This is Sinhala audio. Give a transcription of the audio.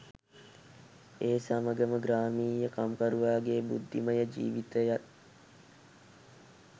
ඒ සමඟම ග්‍රාමීය කම්කරුවාගේ බුද්ධිමය ජිවිතයත්